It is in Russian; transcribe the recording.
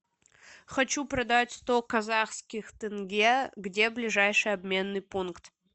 хочу продать сто казахских тенге где ближайший обменный пункт